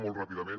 molt ràpidament